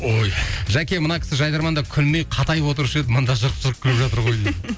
ой жәке мына кісі жайдарманда күлмей қатайып отырушы еді мында жырқ жырқ күліп жатыр ғой дейді